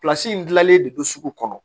in gilannen de don sugu kɔnɔ